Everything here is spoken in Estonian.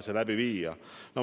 see läbi viia.